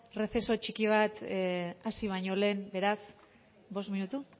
receso txiki bat hasi baino lehen beraz bost minutu